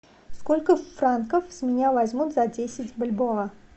сколько франков с меня возьмут за десять бальбоа